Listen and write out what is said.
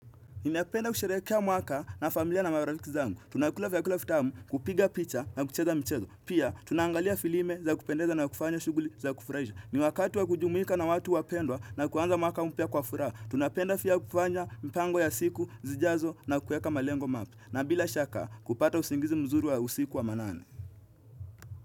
Ninapenda kusherehekea mwaka na familia na marafiki zangu. Tunakula vyakula vitamu kupiga picha na kucheza mchezo. Pia, tunaangalia filime za kupendeza na kufanya shughuli za kufurahisha. Ni wakati wa kujumuika na watu wapendwa na kuanza mwaka umpya kwa furaha. Tunapenda pia kufanya mpango ya siku, zijazo na kueka malengo mapya. Na bila shaka, kupata usingizi mzuri wa usiku wa manane.